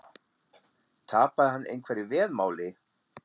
Tapaði hann einhverju veðmáli?